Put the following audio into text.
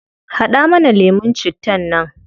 Hada mana lemun cittan nan